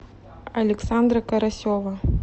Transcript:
александра карасева